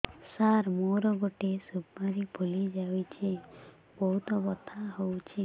ସାର ମୋର ଗୋଟେ ସୁପାରୀ ଫୁଲିଯାଇଛି ବହୁତ ବଥା ହଉଛି